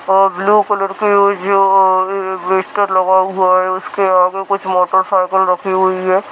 और blue colour की उसके आगे कुछ मोटरसाइकिल रखी हुई है।